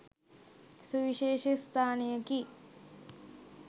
සුවිශේෂ ස්ථානයකි.